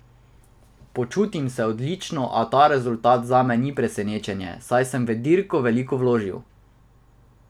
Počutim se odlično, a ta rezultat zame ni presenečenje, saj sem v dirko veliko vložil.